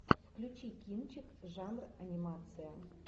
включи кинчик жанр анимация